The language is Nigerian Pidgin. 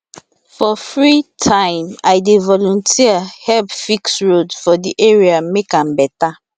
for free time i dey volunteer help fix road for di area make am better